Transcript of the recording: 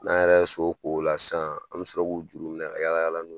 N'an yɛrɛ so ko o la sisan an bɛ sɔrɔ k'u juru minɛ ka yala yala n'o ye.